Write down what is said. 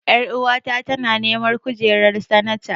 Ƴaruwa ta tana neman kujerar sanata.